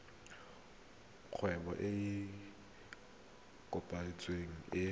kgwebo e e kopetsweng e